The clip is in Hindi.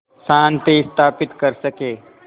शांति स्थापित कर सकें